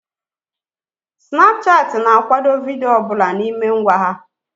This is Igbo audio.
Snapchat ị na akwado vidiyo ọbụla n'ime ngwa ha